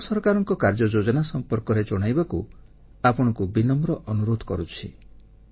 ଭାରତ ସରକାରଙ୍କ କାର୍ଯ୍ୟଯୋଜନା ସମ୍ପର୍କରେ ଜଣାଇବାକୁ ଆପଣଙ୍କୁ ବିନମ୍ର ଅନୁରୋଧ କରୁଛି